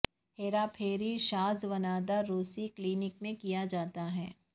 ہیرا پھیری شاذ و نادر روسی کلینک میں کیا جاتا ہے